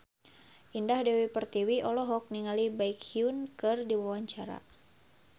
Indah Dewi Pertiwi olohok ningali Baekhyun keur diwawancara